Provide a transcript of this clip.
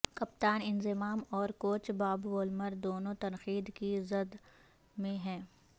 کپتان انضمام اور coach Bob Woolmer دونوں تنقید کی زد میں ہیں